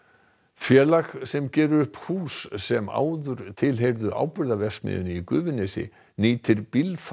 félag sem gerir upp hús sem áður tilheyrðu Áburðarverksmiðjunni í Gufunesi nýtir